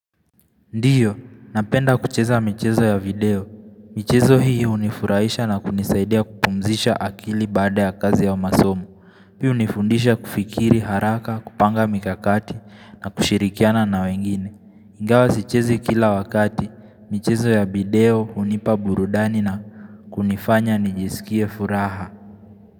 Ndiyo, napenda kucheza michezo ya video. Michezo hii hunifuraisha na kunisaidia kupumzisha akili baada ya kazi au masomo. Hii hunifundisha kufikiri, haraka, kupanga mikakati na kushirikiana na wengine. Ingawa sichezi kila wakati, michezo ya video hunipa burudani na kunifanya nijisikie furaha.